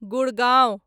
Gurgaon